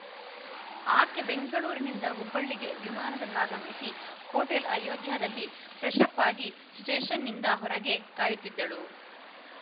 ಆಕೆ ಬೆಂಗಳೂರಿನಿಂದ ಹುಬ್ಬಳ್ಳಿಗೆ ವಿಮಾನದಲ್ಲಾಗಮಿಸಿ ಹೋಟೆಲ್‌ ಅಯೋಧ್ಯಾದಲ್ಲಿ ಫ್ರೆಶ್ಶಪ್‌ ಆಗಿ ಸ್ಟೇಷನ್ನಿದ ಹೊರಗೆ ಕಾಯುತ್ತಿದ್ದಳು